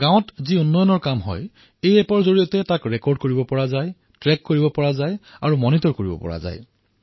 গাঁৱত যি বিকাশমূলক কাম হয় সেই এপটোৰ জৰিয়তে নথিভুক্ত কৰা ট্ৰেক কৰা নিৰীক্ষণ কৰা সহজ হৈ পৰিল